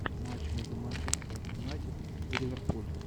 матч между манчестер юнайтед и ливерпуль